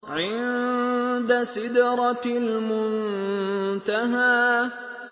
عِندَ سِدْرَةِ الْمُنتَهَىٰ